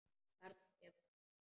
Þarna kemur hún þá!